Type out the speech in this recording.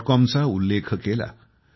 com चा उल्लेख केला